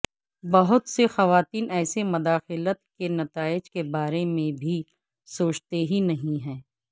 بہت سے خواتین ایسے مداخلت کے نتائج کے بارے میں بھی سوچتے ہی نہیں ہیں